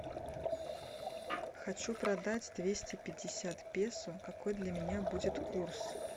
хочу продать двести пятьдесят песо какой для меня будет курс